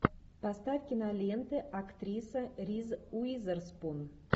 поставь киноленты актриса риз уизерспун